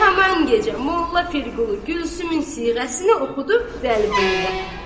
Haman gecə Molla Pirqulu Gülsümün siğəsini oxudu Vəliquluya.